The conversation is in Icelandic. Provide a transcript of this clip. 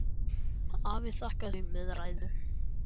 Afi þakkaði fyrir þau með ræðu.